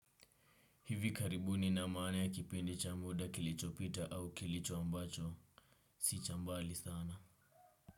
Hivi karibuni ina maana ya kipindi cha muda kilicho pita au kilicho ambacho. Si cha mbali sana.